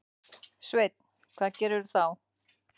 Sveinn: Hvað gerirðu þá?